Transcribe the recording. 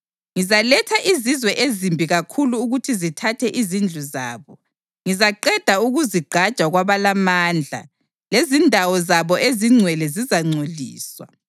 Ngizaletha izizwe ezimbi kakhulu ukuthi zithathe izindlu zabo. Ngizaqeda ukuzigqaja kwabalamandla lezindawo zabo ezingcwele zizangcoliswa.